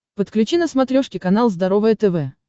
подключи на смотрешке канал здоровое тв